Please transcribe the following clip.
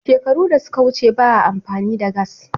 Shekaru da suka wuce ba a amfani da gass